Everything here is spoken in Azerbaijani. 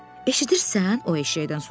Eşidirsən, o eşşəkdən soruşdu.